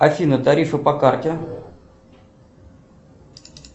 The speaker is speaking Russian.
афина тарифы по карте